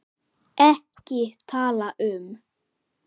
EKKI TALA UM